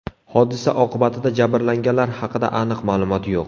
Hodisa oqibatida jabrlanganlar haqida aniq ma’lumot yo‘q.